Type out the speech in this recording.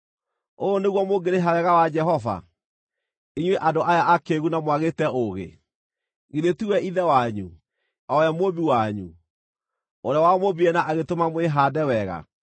Ũũ nĩguo mũngĩrĩha wega wa Jehova, inyuĩ andũ aya akĩĩgu na mwagĩte ũũgĩ? Githĩ tiwe Ithe wanyu, o we Mũmbi wanyu, ũrĩa wamũmbire na agĩtũma mwĩhaande wega?